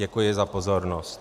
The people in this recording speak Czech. Děkuji za pozornost.